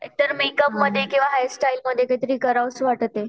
एकतरी मेकअपमध्ये किंवा हेअर स्टाईलमध्ये काहीतरी करावेसे वाटते.